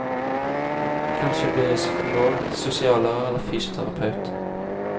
Kanskje blir jeg psykolog, sosiallærer eller fysioterapeut.